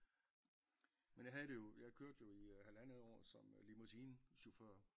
Men jeg havde det jo jeg kørte jo i halvandet år som limousine chauffør